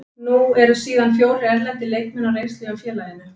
Nú eru síðan fjórir erlendir leikmenn á reynslu hjá félaginu.